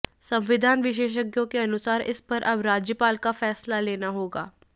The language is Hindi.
संविधान विशेषज्ञों के अनुसार इस पर अब राज्यपाल को फैसला लेना होगा